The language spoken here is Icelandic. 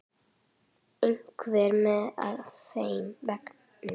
Einhver með á þeim vagni?